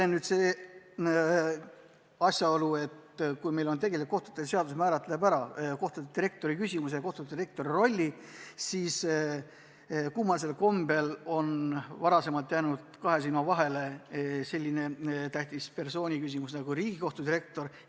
On nimelt üks asjaolu, et kui meil kohtute seadus määratleb ära kohtudirektori rolli, siis kummalisel kombel on jäänud kahe silma vahele selline tähtis persoon nagu Riigikohtu direktor.